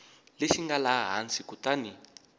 lexi nga laha hansi kutani